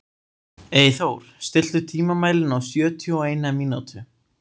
Eyþór, stilltu tímamælinn á sjötíu og eina mínútur.